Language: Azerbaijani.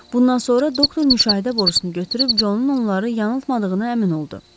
Bundan sonra doktor müşahidə borusunu götürüb Conun onları yanıltmadığına əmin oldu.